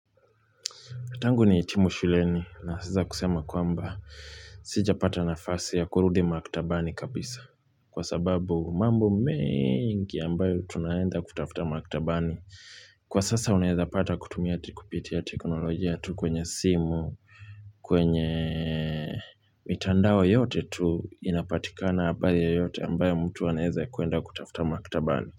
Tangu nihitimu shuleni na sasa kusema kwamba sijapata nafasi ya kurudi maktabani kabisa kwa sababu mambo mengi ambayo tunaenda kutafuta maktabani. Kwa sasa unaezapata kutumia tikupiti ya teknolojia tu kwenye simu, kwenye mitandao yote tu inapatika pale yeyote ambayo mtu anaeza kuenda kutafuta maktabani.